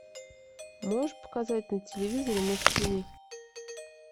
можешь показать на телевизоре муз тиви